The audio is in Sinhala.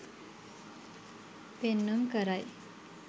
පෙන්නුම් කරයි.